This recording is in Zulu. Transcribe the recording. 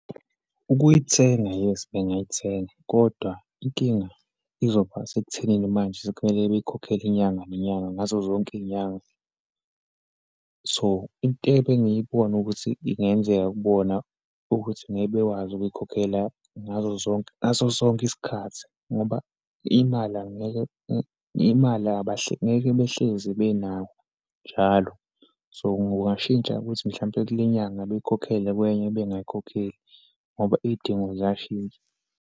Ukuyithenga, yes bengayithenga, kodwa inkinga izoba sekuthenini manje sekumele beyikhokhele inyanga nenyanga, ngazo zonke iyinyanga. So, into ebengiyibona ukuthi ingenzeka kubona, ukuthi ngeke bekwazi ukuyikhokhela ngazo zonke, ngaso sonke isikhathi ngoba imali angeke imali ngeke behlezi benayo njalo. So, kungashintsha ukuthi, mhlawumpe kule nyanga beyikhokhele, kwenye bengayikhokheli ngoba iyidingo ziyashintsha.